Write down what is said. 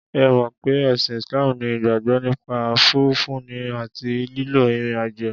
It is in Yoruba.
Ẹ mọ̀ pé ẹ̀sìn Islam ní ìgbàgbọ́ nípa fífúnni àti lílọ ìrìn àjò.